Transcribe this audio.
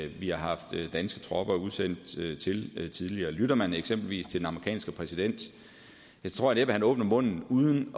vi har haft danske tropper udsendt til tidligere lytter man eksempelvis til den amerikanske præsident tror jeg næppe han åbner munden uden